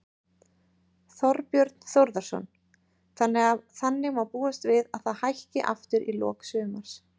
Þorbjörn Þórðarson: Þannig að má búast við að það hækki aftur í lok sumars?